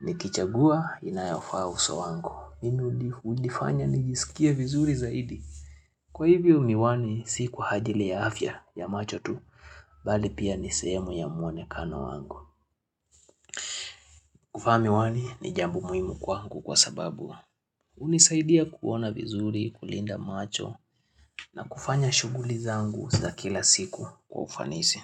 Nikichagua inayofaa uso wangu. Mimi hunifanya nijisikia vizuri zaidi. Kwa hivyo miwani si kwa ajili ya afya ya macho tu, bali pia ni sehemu ya muonekano wangu. Kuvaa miwani ni jambo muhimu kwangu kwa sababu hunisaidia kuona vizuri, kulinda macho na kufanya shughuli zangu za kila siku kwa ufanisi.